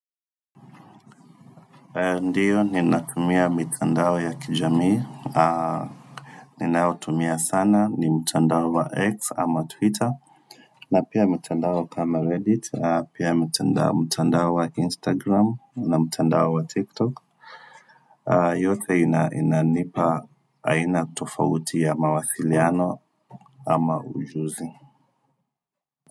Ndiyo, ninatumia mitandao ya kijamii Ninaotumia sana ni mtandao wa x ama twitter na pia mtandao kama reddit, pia mtandao wa instagram na mtandao wa tiktok yote inanipa aina tofauti ya mawasiliano ama ujuzi.